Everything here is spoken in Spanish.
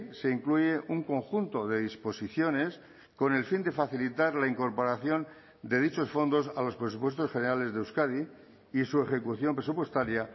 se incluye un conjunto de disposiciones con el fin de facilitar la incorporación de dichos fondos a los presupuestos generales de euskadi y su ejecución presupuestaria